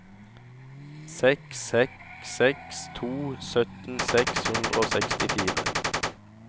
seks seks seks to sytten seks hundre og sekstifire